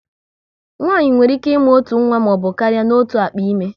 Nwaanyị nwere ike ịmụ otu nwa maọbụ karịa n'otu akpa ime